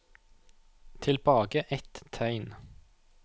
Tilbake ett tegn